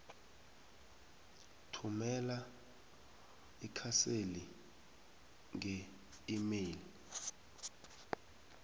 thumela ikhaseli ngeemail